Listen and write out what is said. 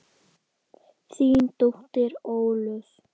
Þín dóttir Ólöf.